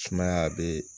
Sumaya be